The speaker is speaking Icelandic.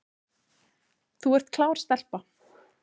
Þú ert klár stelpa